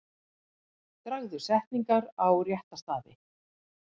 Dragðu setningar á rétta staði.